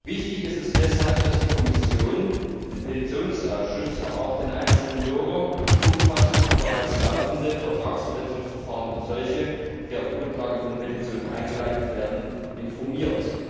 Wichtig ist es deshalb, dass die Kommission den Petitionsausschuss, aber auch den einzelnen Bürger umfassend über bereits laufende Vertragsverletzungsverfahren und solche, die auf Grundlage von Petitionen eingeleitet werden, informiert.